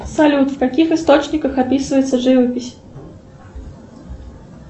салют в каких источниках описывается живопись